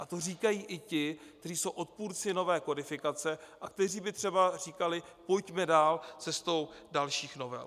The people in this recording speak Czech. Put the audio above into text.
A to říkají i ti, kteří jsou odpůrci nové kodifikace a kteří by třeba říkali: pojďme dál, cestou dalších novel.